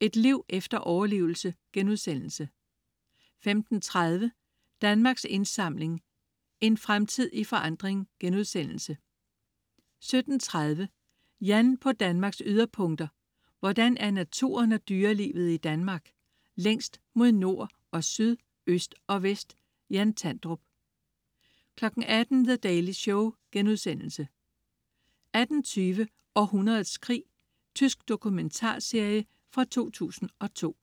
Et liv efter overlevelse* 15.30 Danmarks Indsamling. En Fremtid i Forandring* 17.30 Jan på Danmarks yderpunkter. Hvordan er naturen og dyrelivet i Danmark længst mod nord og syd, øst og vest? Jan Tandrup 18.00 The Daily Show* 18.20 Århundredets krig. Tysk dokumentarserie fra 2002